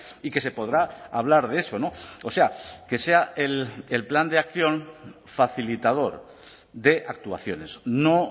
y que se podrá hablar de eso o sea que sea el plan de acción facilitador de actuaciones no